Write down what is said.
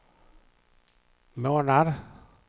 månad